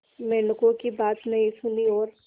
मेंढकों की बात नहीं सुनी और